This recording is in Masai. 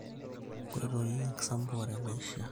Nkoitoi enkisampuare naiishiaa.